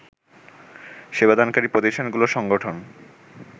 সেবাদানকারী প্রতিষ্ঠানগুলোর সংগঠন